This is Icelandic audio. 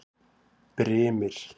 Brimir